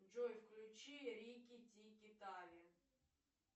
джой включи рики тики тави